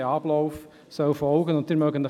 Der Ablauf ist noch nicht ganz klar.